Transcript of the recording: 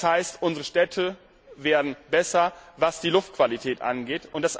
Das heißt, unsere Städte werden besser, was die Luftqualität angeht.